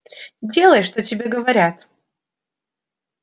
делай что тебе говорят